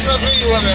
Suyu boşaldın.